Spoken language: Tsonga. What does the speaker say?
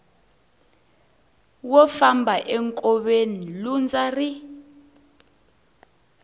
wo famba enkoveni lundza ri